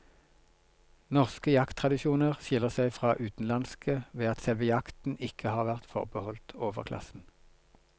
Norske jakttradisjoner skiller seg fra utenlandske ved at selve jakten ikke har vært forbeholdt overklassen.